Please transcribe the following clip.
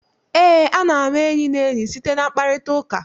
Eé, a na-ama enyi na enyi site na mkparịtaụka.